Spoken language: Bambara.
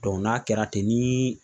n'a kɛra ten ni